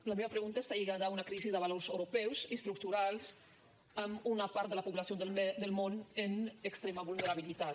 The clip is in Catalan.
la meva pregunta està lligada a una crisi de valors europeus estructurals amb una part de la població del món en extrema vulnerabilitat